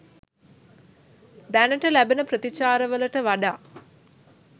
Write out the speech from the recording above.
දැනට ලැබෙන ප්‍රතිචාරවලට වඩා